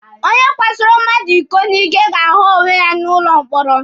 Onye kwasoro mmadụ iko n'ike ga-ahu onwe ya n'ụlọ mkpọrọ.